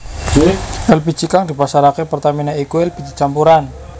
Èlpiji kang dipasarké Pertamina iku elpiji campuran